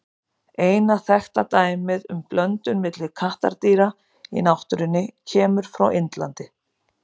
Eina þekkta dæmið um blöndun milli kattardýra í náttúrunni kemur frá Indlandi.